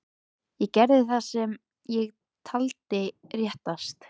Ég gerði það sem ég taldi réttast.